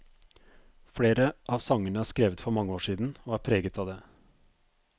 Flere av sangene er skrevet for mange år siden, og er preget av det.